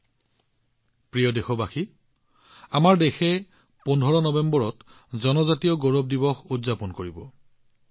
মোৰ মৰমৰ দেশবাসীসকল ১৫ নৱেম্বৰত আমাৰ দেশে জনজাতীয় গৌৰৱ দিৱস উদযাপন কৰিব